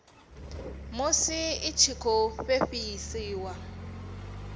musi i tshi khou fhefheiswa